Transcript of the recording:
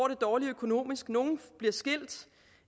det dårligt økonomisk nogle bliver skilt